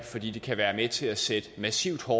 fordi det kan være med til at sætte massivt hårdere